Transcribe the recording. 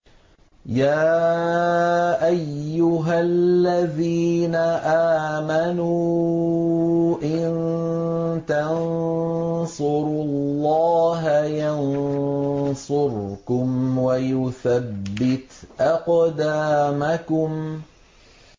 يَا أَيُّهَا الَّذِينَ آمَنُوا إِن تَنصُرُوا اللَّهَ يَنصُرْكُمْ وَيُثَبِّتْ أَقْدَامَكُمْ